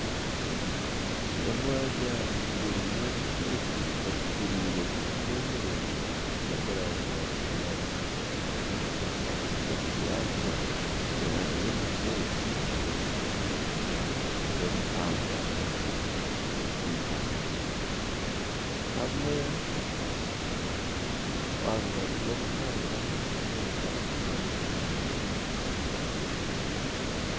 Omwanya gurimu emiti ekuriire kimwe miringwa eri omu rangi ya kinyaatsi. Ahagati y'emiti egi n'omuhanda gw'eitaka. Aha rubaju rw'omuhanda omunda n'obuju bubiri.